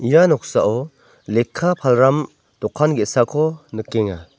ia noksao lekka palram dokan ge·sako nikenga.